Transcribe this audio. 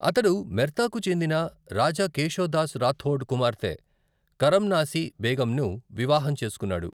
అతడు మెర్తాకు చెందిన రాజా కేషో దాస్ రాథోడ్ కుమార్తె కరమ్నాసి బేగంను వివాహం చేసుకున్నాడు.